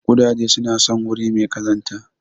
Ƙudaje suna son wuri mai kazanta.